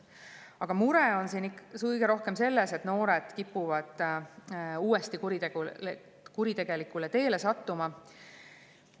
Aga mure on kõige rohkem selles, et noored kipuvad uuesti kuritegelikule teele sattuma.